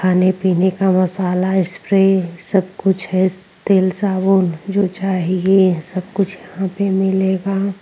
खाने पीने का मसाला स्प्रे सब कुछ है तेल साबुन जो चाहिए सब कुछ यहाँ पे मिलेगा।